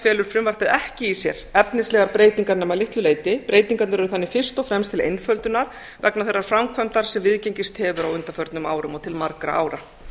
felur frumvarpið ekki í sér efnislegar breytingar nema að litlu leyti breytingarnar eru þannig fyrst og fremst til einföldunar vegna þeirrar framkvæmdar sem viðgengist hefur á undanförnum árum og til margra ára